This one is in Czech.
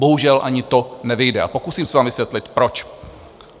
Bohužel ani to nevyjde a pokusím se vám vysvětlit proč.